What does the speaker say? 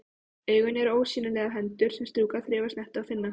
Augun eru ósýnilegar hendur sem strjúka, þreifa, snerta, finna.